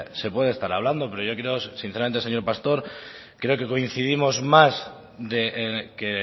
se puede estar hablando pero yo creo que sinceramente señor pastor creo que coincidimos más que